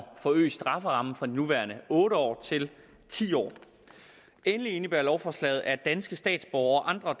forøge strafferammen fra de nuværende otte år til ti år endelig indebærer lovforslaget at danske statsborgere og